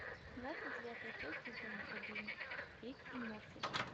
двадцать девятая часть сезона один рик и морти